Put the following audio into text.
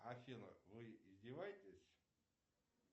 афина вы издеваетесь